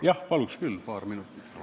Jah, paluks küll paar minutit!